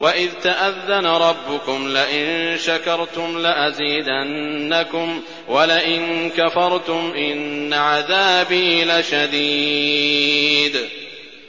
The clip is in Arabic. وَإِذْ تَأَذَّنَ رَبُّكُمْ لَئِن شَكَرْتُمْ لَأَزِيدَنَّكُمْ ۖ وَلَئِن كَفَرْتُمْ إِنَّ عَذَابِي لَشَدِيدٌ